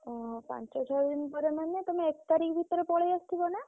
ଓହୋ! ପାଞ୍ଚ ଛଅ ଦିନ ପରେ ମାନେ ତମେ ଏକ ତାରିଖ ଭିତରେ ପଲେଇ ଅସିଥିବ ନା?